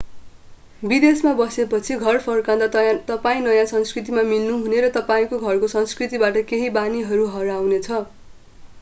विदेशमा बसे पछि घर फर्कंदा तपाईं नयाँ संस्कृतिमा मिल्नु हुने र तपाईंको घरको संस्कृतिबाट केही बानीहरू हराउने छ